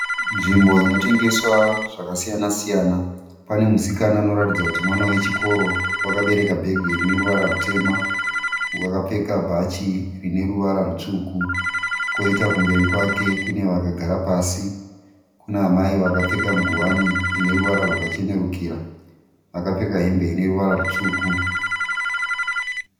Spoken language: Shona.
Nzvimbo inotengeswa zvakasiyana siyana. Pane musikana anoratidza kuti mwana wechikoro wakabereka bhegi rineruvara rutema. Wakapfeka bhachi rineruvara rutsvuku. Koita kumberi kwake kune vakagara pasi . Kuna amai vakapfeka nguwani ine ruvara rwakachenerukira, vakapfeka hembe ine ruvara rutsvuku.